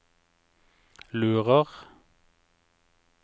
lurer